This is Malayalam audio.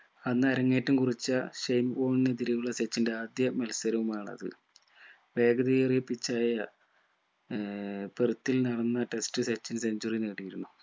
അന്നരങ്ങേറ്റം കുറിച്ച ഷൈൻ വോളിനെതിരെയുള്ള സച്ചിന്റെ ആദ്യ മത്സരവുമാണത് വേഗതയേറിയ pitch ആയ ഏർ പുറത്തിൽ നടന്ന test സച്ചിൻ centuary നേടിയിരുന്നു